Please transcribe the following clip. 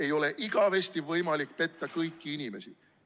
Ei ole igavesti võimalik petta kõiki inimesi.